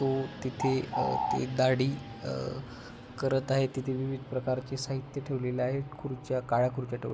तो तिथे अ ते दाढी अ करत आहे तिथे विविध प्रकारचे साहित्य ठेवलेल आहे खुर्च्या काळ्या खुर्च्या ठेव --